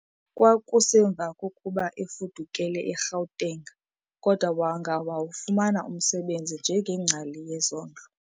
Kwakusemva kokuba efudukele e-Gauteng kodwa wangawufumana umsebenzi njengengcali yezondlo.